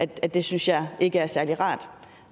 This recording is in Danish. det synes jeg ikke er særlig rart